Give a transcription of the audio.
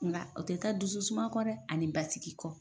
Nga o tɛ taa dusu suma kɔ dɛ ani basigi kɔ.